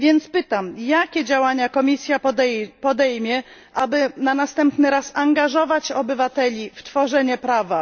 Pytam więc, jakie działania Komisja podejmie, aby na następny raz angażować obywateli w tworzenie prawa?